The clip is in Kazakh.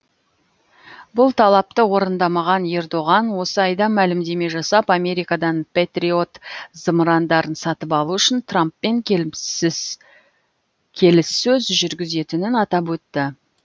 бұл талапты орындамаған ердоған осы айда мәлімдеме жасап америкадан пэтриот зымырандарын сатып алу үшін трамппен келіссөз жүргізетінін атап өтті